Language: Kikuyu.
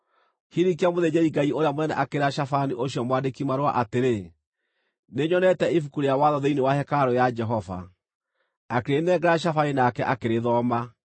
Hilikia mũthĩnjĩri-Ngai ũrĩa mũnene akĩĩra Shafani ũcio mwandĩki marũa atĩrĩ, “Nĩnyonete Ibuku rĩa Watho thĩinĩ wa hekarũ ya Jehova.” Akĩrĩnengera Shafani nake akĩrĩthoma.